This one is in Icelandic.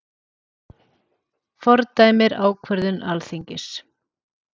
Fordæmir ákvörðun Alþingis